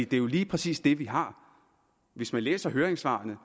det er jo lige præcis det vi har hvis man læser høringssvarene